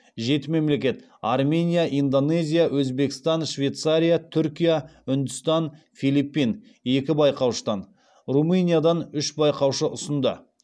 жеті мемлекет екі байқаушыдан румыниядан үш байқаушы ұсынды